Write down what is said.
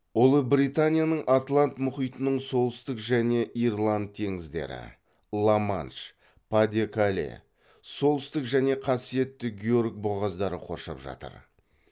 ұлыбританияны атлант мұхитының солтүстік және ирланд теңіздері ла манш па де кале солтүстік және қасиетті георг бұғаздары қоршап жатыр